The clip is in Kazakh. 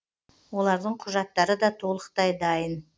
олардың құжаттары да толықтай дайын